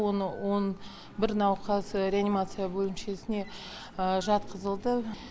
оны он бір науқас реанимация бөлімшесіне жатқызылды